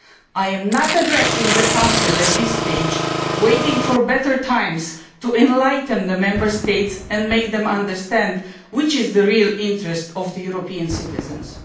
I am not addressing the Council at this stage, waiting for a better time to enlighten the Member States and make them understand what the real interests of European citizens are.